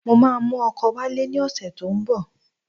Mo máa mú ọkọ wálé ní ọ̀sẹ̀ tó ń bọ̀.